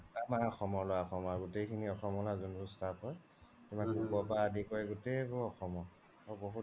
আমাৰ অসমৰ ল্'ৰা, অসমৰ ল্'ৰা গুতৈখিনি অসমৰে যোনবোৰ staff হয় cook ৰ পৰা আদি কৰি গোতেই বোৰ অসমৰ